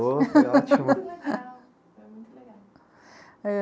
Ôh, eu achei... legal. Foi muito legal. É